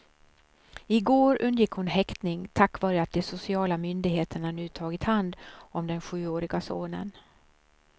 I går undgick hon häktning, tack vare att de sociala myndigheterna nu tagit hand om den sjuårige sonen.